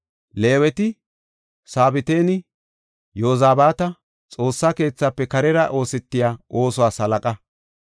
Leeweti Sabatinne Yozabaata Xoossa keethafe karera oosetiya oosuwas halaqa.